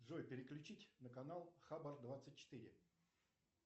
джой переключить на канал хабар двадцать четыре